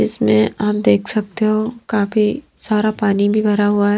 इसमें आप देख सकते हो काफी सारा पानी भी भरा हुआ ।